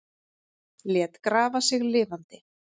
Lét grafa sig lifandi